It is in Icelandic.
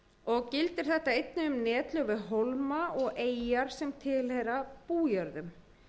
og gildir þetta einnig um netlög við hólma og eyjar sem tilheyra bújörðum